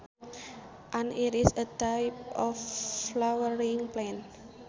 An iris is a type of flowering plant